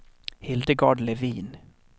Hildegard Levin